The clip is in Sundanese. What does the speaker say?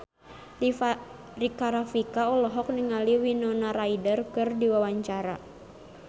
Rika Rafika olohok ningali Winona Ryder keur diwawancara